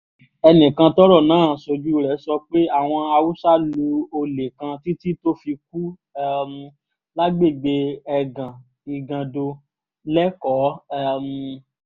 ẹnìkan tọ́rọ̀ náà ṣojú rẹ̀ sọ pé àwọn haúsá lu olè kan títí tó fi kú um lágbègbè ẹgàn igando lẹ́kọ̀ọ́ um